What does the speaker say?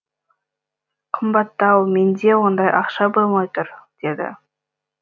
қымбаттау менде ондай ақша болмай тұр деді